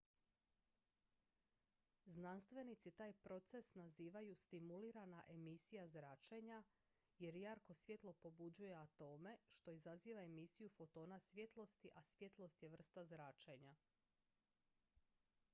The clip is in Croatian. "znanstvenici taj proces nazivaju "stimulirana emisija zračenja" jer jarko svjetlo pobuđuje atome što izaziva emisiju fotona svjetlosti a svjetlost je vrsta zračenja.